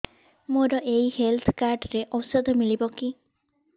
ମୋର ଏଇ health card ରେ ଔଷଧ ମିଳିବ କି